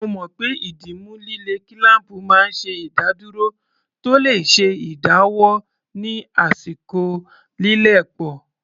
Mo mọ̀ pé ìdìmú líle kílám̀pù máa ń ṣe ìdádúró tó le ṣe ìdáwọ́ ní àsìkò lílẹ̀ pọ̀